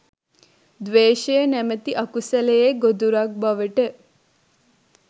ද්වේෂය නැමැති අකුසලයේ ගොදුරක් බවට